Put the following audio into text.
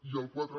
i el quatre